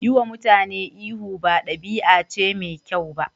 Yiwa mutane ihu ba ɗabi'a ce mai kyau ba.